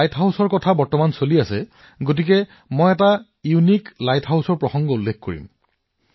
light হাউচৰ কথা চলি থকাৰ সময়তে মই আপোনালোকক এটা অনন্য লাইট হাউচৰ বিষয়ে কব বিচাৰিছো